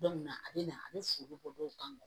Don min na a bɛ na a bɛ foro bɔ dɔw kan